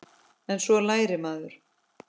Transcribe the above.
En svo lærir maður.